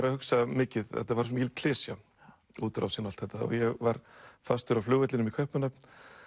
að hugsa mikið að þetta var svo mikil klisja útrásin og allt þetta og ég var fastur á flugvellinum í Kaupmannahöfn